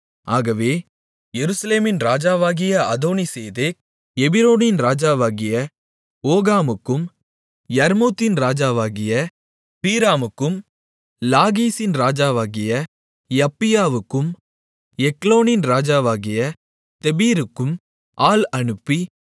ஆகவே எருசலேமின் ராஜாவாகிய அதோனிசேதேக் எபிரோனின் ராஜாவாகிய ஓகாமுக்கும் யர்மூத்தின் ராஜாவாகிய பீராமுக்கும் லாகீசின் ராஜாவாகிய யப்பியாவுக்கும் எக்லோனின் ராஜாவாகிய தெபீருக்கும் ஆள் அனுப்பி